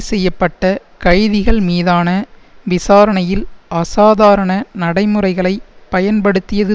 செய்ய பட்ட கைதிகள் மீதான விசாரணையில் அசாதாரண நடைமுறைகளை பயன்படுத்தியது